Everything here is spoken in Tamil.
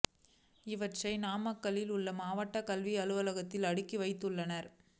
இவற்றை நாமக்கல்லில் உள்ள மாவட்ட கல்வி அலுவலகத்தில் அடுக்கி வைத்துள்ளனர்